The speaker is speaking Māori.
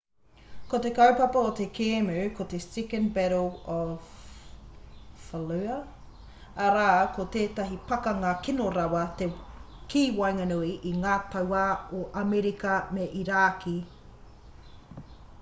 ko te kaupapa o te kēmu ko te second battle of fallujah arā ko tētahi pakanga kino rawa ki waenganui i ngā tauā o amerika me irāki